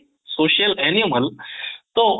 social animal ତ